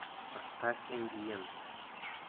поставь эмбиент